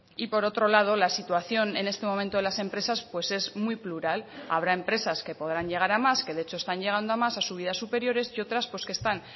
y por otro lado la situación en este momento de las empresas pues es muy plural habrá empresas que podrán llegar a más que de hecho están llegando a más a subidas superiores y otras pues que están